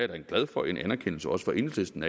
da glad for en anerkendelse også fra enhedslisten